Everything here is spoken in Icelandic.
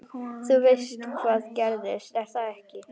Þú veist hvað gerðist, er það ekki?